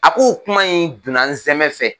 A k'o kuma in don na n zɛmɛ fɛ.